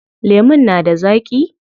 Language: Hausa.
Lemun na da zaaƙi?